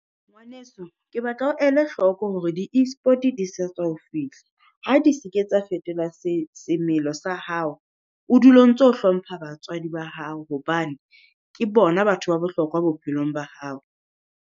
Ngwaneso, ke batla o ele hloko hore di Esport di sa tswa ho fihla, ha di se ke tsa fetola semelo sa hao. O dule o ntso hlompha batswadi ba hao hobane ke bona batho ba bohlokwa bophelong ba hao.